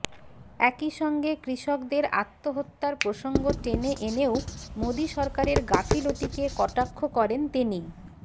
একই সঙ্গে কৃষকদের আত্মহত্যার প্রসঙ্গ টেনে এনেও মোদী সরকারের গাফিলতিকে কটাক্ষ করেন তিনি